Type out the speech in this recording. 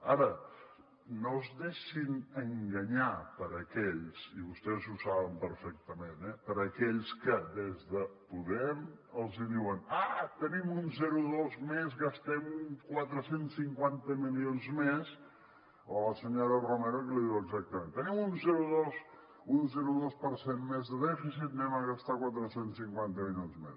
ara no es deixin enganyar per aquells i vostès ho saben perfectament que des de podem els diuen ah tenim un zero coma dos més gastem quatre cents i cinquanta milions més o la senyora romero que li diu exactament tenim un zero coma dos per cent més de dèficit gastem quatre cents i cinquanta milions més